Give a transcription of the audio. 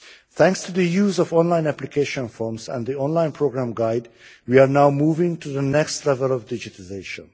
Thanks to the use of online application forms and the online programme guide, we are now moving to the next level of digitalisation.